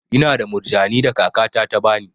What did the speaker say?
Ina da murjani da kaka ta ta bani.